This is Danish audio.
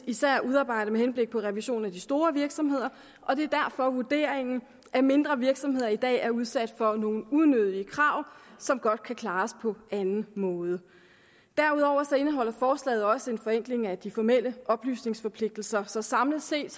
især udarbejdet med henblik på revision af de store virksomheder og det er derfor vurderingen at mindre virksomheder i dag er udsat for nogle unødige krav som godt kan klares på anden måde derudover indeholder forslaget også en forenkling af de formelle oplysningsforpligtelser så samlet set